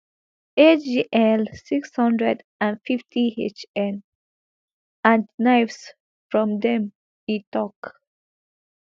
agl six hundred and fifty hn and knives from dem e tok